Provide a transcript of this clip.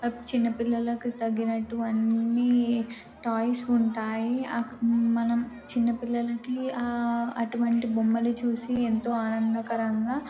చిన్నపిల్లలకు తగినట్టువన్నీ టాయ్స్ ఉంటాయి ఆక మనం చిన్న పిల్లలికి అటువంటి బొమ్మను చూసి ఎంతో ఆనంధకరంగా --